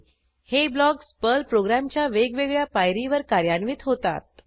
हे blocks Perl प्रोग्रॅमच्या वेगवेगळ्या पायरीवर कार्यान्वित होतात